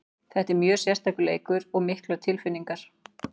Þetta er mjög sérstakur leikur og miklar tilfinningar.